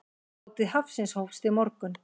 Hátíð hafsins hófst í morgun.